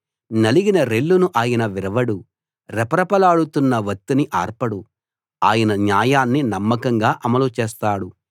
నలిగిన రెల్లును ఆయన విరవడు రెపరెపలాడుతున్న వత్తిని ఆర్పడు ఆయన న్యాయాన్ని నమ్మకంగా అమలుచేస్తాడు